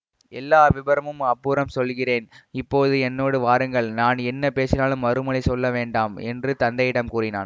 எல்லா விபரமும் அப்புறம் சொல்கிறேன் இப்போது என்னோடு வாருங்கள் நான் என்ன பேசினாலும் மறுமொழி சொல்ல வேண்டாம் என்று தந்தையிடம் கூறினான்